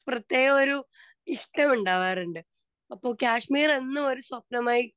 speaker 2 പ്രേത്യേകം ഒരു ഇഷ്ട്ടം ഉണ്ടാകാറുണ്ട് അപ്പൊ കാശ്മീർ എന്നും ഒരു സ്വപ്നമായി